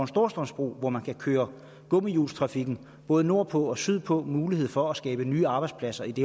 storstrømsbro hvor man kan køre gummihjulstrafikken både nordpå og sydpå og mulighed for at skabe nye arbejdspladser i det